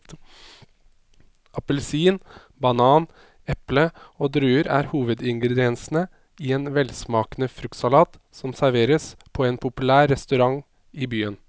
Appelsin, banan, eple og druer er hovedingredienser i en velsmakende fruktsalat som serveres på en populær restaurant i byen.